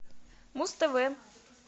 муз тв